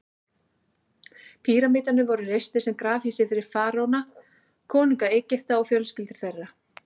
Píramídarnir voru reistir sem grafhýsi fyrir faraóana, konunga Egypta, og fjölskyldur þeirra.